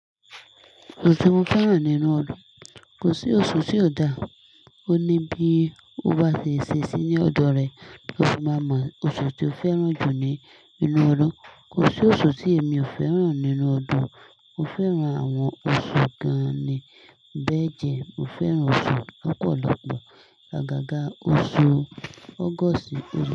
Oṣù ti mo fẹ́ràn nínú ọdún, kò sí oṣù tí ò dà. Ó ní bí ó bá ṣe ṣe sí ní ọ̀dọ̀ rẹ kí o sì má mọ oṣù tí o fẹ́ràn jù ní inú ọdún. Kò sí oṣù tí èmi ò fẹ́ràn nínú ọdún. Mo fẹ́ràn àwọn oṣù gan-an ni bẹ́ẹ̀ jẹ. Mo fẹ́ràn oṣù lọ̀pọ̀lọpọ̀. Agaga oṣù August.